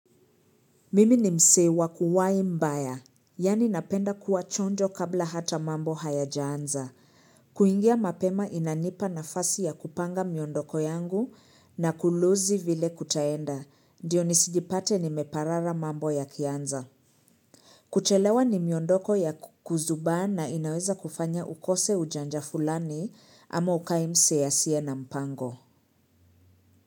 Mimi ni msee wa kuwai mbaya. Yani napenda kuwa chonjo kabla hata mambo hayajaanza. Kuingia mapema inanipa nafasi ya kupanga miondoko yangu na kuluzi vile kutaenda. Ndiyo nisijipate nimeparara mambo yakianza. Kuchelewa ni miondoko ya kuzubaa na inaweza kufanya ukose ujanja fulani ama ukae msee asiye na mpango.